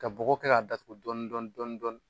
Ka bɔgɔ kɛ k'a datugu dɔɔnin dɔɔnin dɔɔnin dɔɔnin.